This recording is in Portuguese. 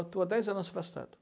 Estou há dez anos afastado.